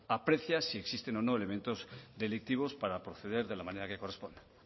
aprecia si existen o no elementos delictivos para proceder de la manera que corresponda